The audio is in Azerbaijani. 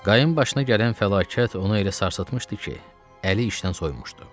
Qayın başına gələn fəlakət onu elə sarsıtmışdı ki, əli işdən soyumuşdu.